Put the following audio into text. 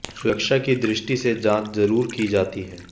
सुरक्षा की दृष्टि से जांच जरूर की जाती है